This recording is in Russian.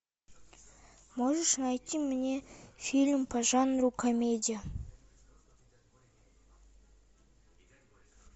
можешь найти мне фильм по жанру комедия